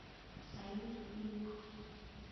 салют люк